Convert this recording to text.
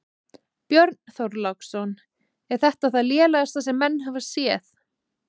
Björn Þorláksson: Er þetta það lélegasta sem menn hafa séð?